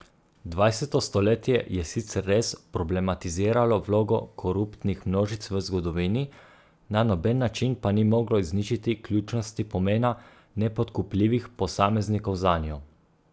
Dvajseto stoletje je sicer res problematiziralo vlogo koruptnih množic v zgodovini, na noben način pa ni moglo izničiti ključnosti pomena nepodkupljivih posameznikov zanjo.